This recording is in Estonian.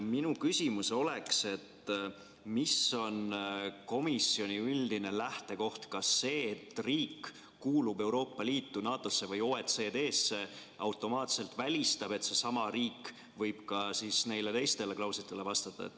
Minu küsimus oleks järgmine: mis on komisjoni üldine lähtekoht – kas see, et riik kuulub Euroopa Liitu, NATO-sse või OECD-sse automaatselt välistab, et seesama riik võib ka teistele klauslitele vastata?